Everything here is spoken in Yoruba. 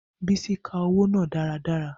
Bisi ka owo naa daradara.